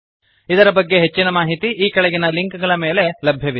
ಇದರ ಬಗ್ಗೆ ಹೆಚ್ಚಿನ ಮಾಹಿತಿ ಈ ಕೆಳಗಿನ ಲಿಂಕ್ ಗಳ ಮೇಲೆ ಲಭ್ಯವಿದೆ